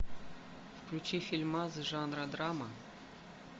включи фильмас жанра драма